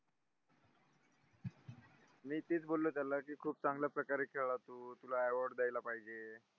मी तेच बोलो त्याला कि खूप चांगल्या प्रकारे खेळा तू तुला award दयायला पाहिजे